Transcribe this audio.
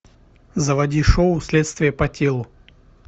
заводи шоу следствие по телу